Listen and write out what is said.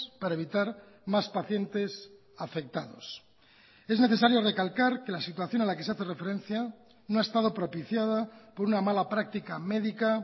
para evitar más pacientes afectados es necesario recalcar que la situación a la que se hace referencia no ha estado propiciada por una mala práctica médica